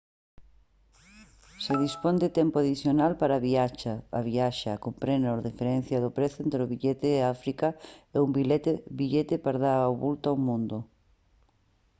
se dispón de tempo adicional para a viaxe comprobe a diferenza no prezo entre o seu billete a áfrica e un billete para dar a volta ao mundo